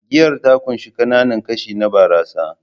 Giyar ta ƙunshi ƙananan kashi na barasa